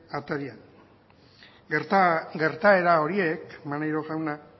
atarian gertaera horiek maneiro jauna